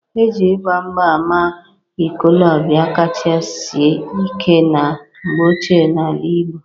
E ji :igba mgba ama ikolobia kacha si ike na mgbe ochie n'ala igbo.